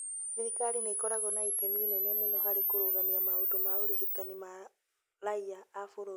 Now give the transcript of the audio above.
Thirikari nĩ ĩkoragwo na itemi inene mũno harĩ kũrũgamia maũndũ ma ũrigitani ma raiya a bũrũri.